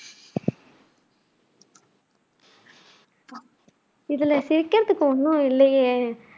இதுல சிரிக்கிறதுக்கு ஒண்ணும் இல்லையே